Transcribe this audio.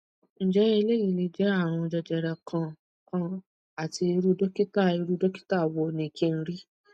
nje eleyi le je arun jejere kan kan ati iru dokita iru dokita wo ni kin ri